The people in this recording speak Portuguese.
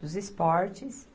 dos Esportes.